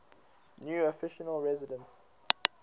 new official residence